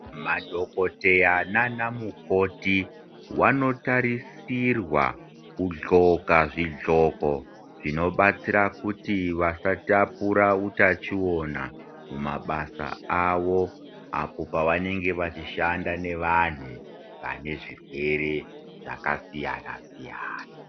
Madhokodheya nana mukoti vanotarisirwa kudzoka zvidzoko zvinobatsira kuti vasatapura utachiona mumabasa awo apo pavanenge pachishanda nevanhu pazvibhedhlera zvakasiyana siyana.